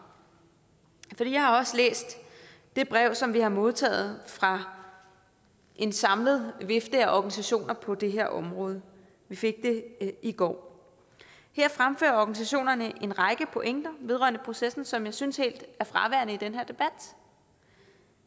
for jeg har også læst det brev som vi har modtaget fra en samlet vifte af organisationer på det her område vi fik det i går her fremfører organisationerne en række pointer vedrørende processen som jeg synes helt er fraværende i den her debat